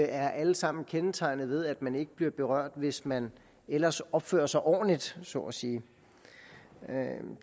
er alle sammen kendetegnet ved at man ikke bliver berørt hvis man ellers opfører sig ordentligt så at sige